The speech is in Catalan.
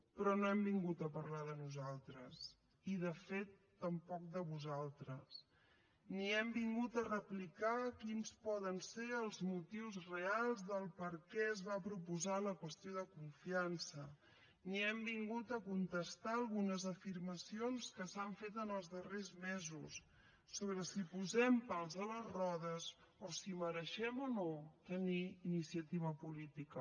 però no hem vingut a parlar de nosaltres i de fet tampoc de vosaltres ni hem vingut a replicar quins poden ser els motius reals de per què es va proposar la qüestió de confiança ni hem vingut a contestar algunes afirmacions que s’han fet en els darrers mesos sobre si posem pals a les rodes o si mereixem o no tenir iniciativa política